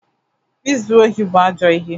Izu ohi bụ ajọ ihe.